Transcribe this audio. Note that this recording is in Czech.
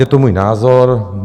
Je to můj názor.